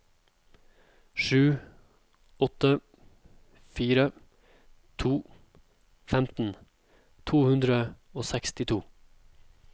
sju åtte fire to femten to hundre og sekstito